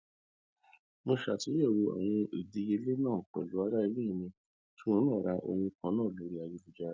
mo ṣàtúnyẹwò àwọn ìdíyelé náà pẹlú aráalé mi tí òhun náà ra ohun kan náà lórí ayélujára